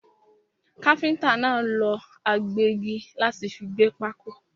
Káfíntà náà lọ agbẹ́gi láti fi gbẹ́ pákó.